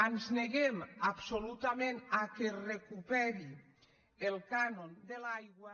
ens neguem absolutament que es recuperi el cànon de l’aigua